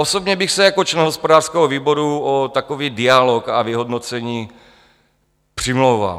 Osobně bych se jako člen hospodářského výboru o takový dialog a vyhodnocení přimlouval.